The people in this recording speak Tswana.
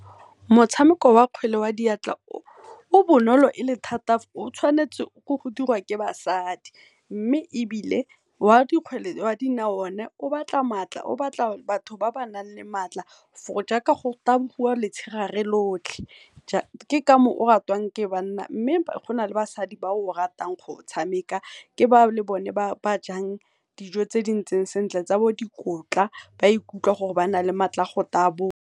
Motshameko wa kgwele ya diatla o bonolo thata o tshwanetse ke go dirwa ke basadi, mme ebile o a dikgwele ya dinao o ne o batla matla, o batla batho ba ba nang le matla for gore jaaka go tabogiwa lotlhe. Ke ka moo o ratwang ke banna mme gona le basadi ba ratang go o tshameka, ke ba o le bone ba jang dijo tse di ntseng sentle tsa bo dikotla ba ikutlwa gore ba na le matla a go taboga.